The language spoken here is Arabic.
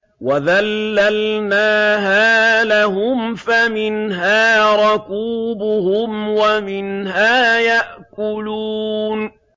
وَذَلَّلْنَاهَا لَهُمْ فَمِنْهَا رَكُوبُهُمْ وَمِنْهَا يَأْكُلُونَ